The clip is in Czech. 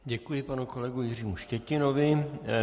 Děkuji panu kolegovi Jiřímu Štětinovi.